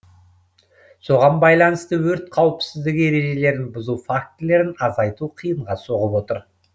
соған байланысты өрт қауіпсіздігі ережелерін бұзу фактілерін азайту қиынға соғып отыр